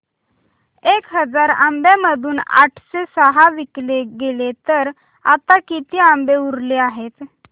एक हजार आंब्यांमधून आठशे सहा विकले गेले तर आता किती आंबे उरले आहेत